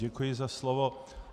Děkuji za slovo.